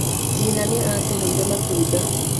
Nyina nĩ aatũheire matunda.